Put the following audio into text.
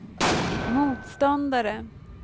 motståndare